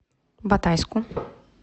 батайску